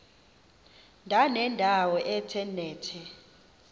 ndanendawo ethe nethe